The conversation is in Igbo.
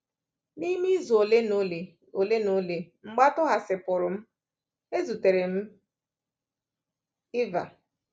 N’ime izu ole na ole ole na ole mgbe a tọhapụsịrị m, ezutere m Eva.